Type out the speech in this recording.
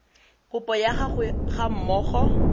kopo ya gago ga mmogo